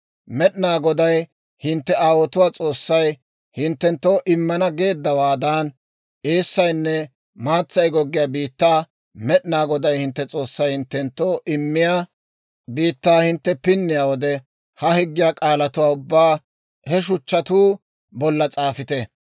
Med'inaa Goday hintte aawotuwaa S'oossay hinttenttoo immana geeddawaadan, eessaynne maatsay goggiyaa biittaa, Med'inaa Goday hintte S'oossay hinttenttoo immiyaa biittaa hintte pinniyaa wode, ha higgiyaa k'aalatuwaa ubbaa he shuchchatuu bolla s'aafite.